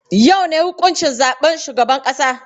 Yau ne huƙuncin zaɓen shugaban ƙasa?